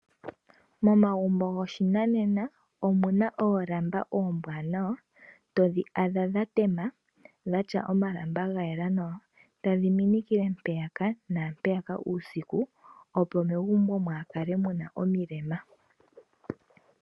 Momagumbo goshinanena omu na oolamba mbwanawa todhi adha dhatema dhatya omalamba ga yela nawa tadhi minikile mpeyaka naampeyaka uusiku opo megumbo mwaakale mu na omilemo.